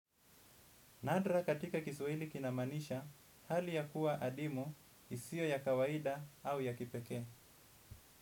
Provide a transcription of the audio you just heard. Nadra katika kiswahili kinamaanisha hali ya kuwa adimu isio ya kawaida au ya kipekee.